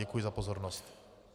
Děkuji za pozornost.